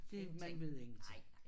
Det man ved ingenting